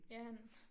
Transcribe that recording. Ja han